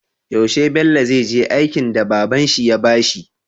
Yaushe Bello zai je aiken da babanshi ya bashi?